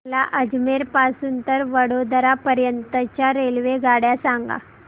मला अजमेर पासून तर वडोदरा पर्यंत च्या रेल्वेगाड्या सांगा